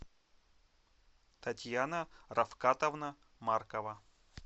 татьяна рафкатовна маркова